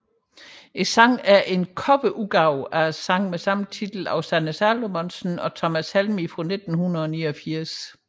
Sangen er en coverudgave af sangen med samme titel af Sanne Salomonsen og Thomas Helmig fra 1989